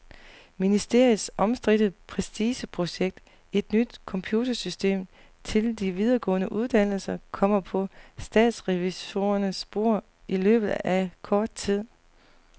Ministeriets omstridte prestigeprojekt, et nyt computersystem til de videregående uddannelser, kommer på statsrevisorernes bord i løbet af kort tid.